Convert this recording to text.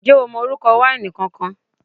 Ǹjẹ́ o mọ orúkọ wáìnì kankan?